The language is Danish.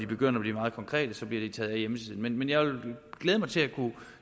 begynder at blive meget konkrete så bliver de taget af hjemmesiden men jeg vil glæde mig til